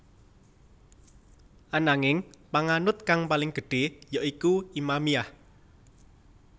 Ananging panganut kang paling gedhé ya iku Imamiyah